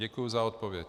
Děkuji za odpověď.